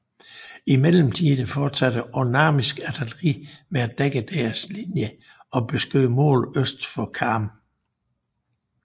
I mellemtiden fortsatte osmannisk artilleri med at dække deres linje og beskød mål øst for Karm